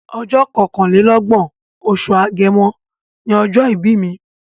Ọjọ́ kọkànlélọ́gbọ̀n, oṣù Agẹmọ ni ọjọ́ ìbí mi.